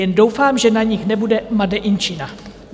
Jen doufám, že na nich nebude made in China!